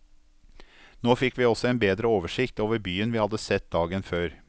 Nå fikk vi også en bedre oversikt over byen vi hadde sett dagen før.